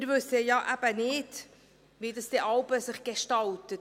Wir wissen ja eben nicht, wie sich ein Projekt jeweils gestaltet.